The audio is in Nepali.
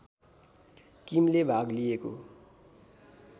किमले भाग लिएको